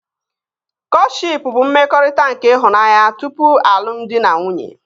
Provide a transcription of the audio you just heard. Kọtshịp bụ mmekọrịta nke ịhụnanya tupu alụmdi na nwunye